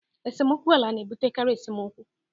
esemokwu ala na-ebutekarị esemokwu